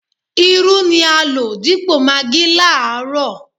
Irú ni a lò dípò magí láàárọ̀